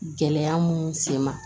Gɛlɛya mun sen ma